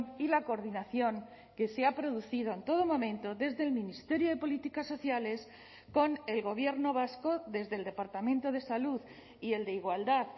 y la coordinación que se ha producido en todo momento desde el ministerio de políticas sociales con el gobierno vasco desde el departamento de salud y el de igualdad